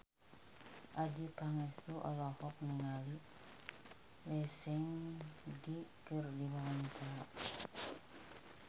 Adjie Pangestu olohok ningali Lee Seung Gi keur diwawancara